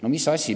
No mis asi?